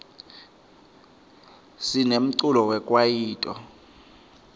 sinemculo wekwaito